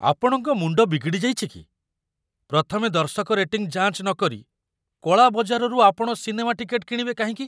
ଆପଣଙ୍କ ମୁଣ୍ଡ ବିଗିଡ଼ି ଯାଇଛି କି? ପ୍ରଥମେ ଦର୍ଶକ ରେଟିଂ ଯାଞ୍ଚ ନକରି କଳା ବଜାରରୁ ଆପଣ ସିନେମା ଟିକେଟ୍‌ କିଣିବେ କାହିଁକି?